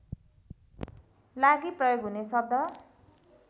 लागि प्रयोग हुने शब्द